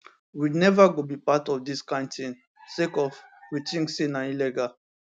we neva go be part of dis kind tin sake of we tink say na illegal